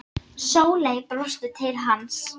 Sóley brosti til hans.